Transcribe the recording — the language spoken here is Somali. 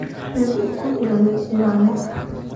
Shiil ukun iyo yaanyo.